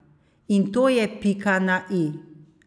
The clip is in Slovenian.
A to je pika na i.